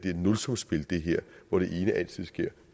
er et nulsumsspil hvor det ene altid sker